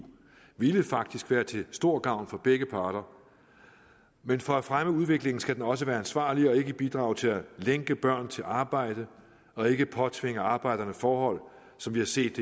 ville faktisk være til stor gavn for begge parter men for at fremme udviklingen skal den også være ansvarlig og ikke bidrage til at lænke børn til arbejde og ikke påtvinge arbejderne forhold som vi har set